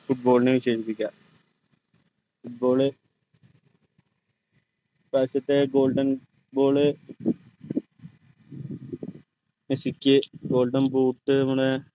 football നെ വിശേഷിപ്പിക്കാം football ഇപ്പ്രായശ്ത്തെ golden ball മെസ്സിക്ക് golden boot നമ്മടെ